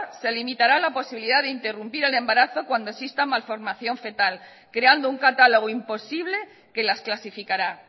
se limitará la posibilidad de interrumpir el embarazo cuando exista malformación fetal creando un catálogo imposible que las clasificará